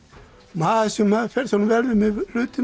maður sem fer svona vel með hlutina